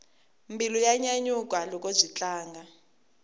mbilu ya nyanyuka loko byi tlanga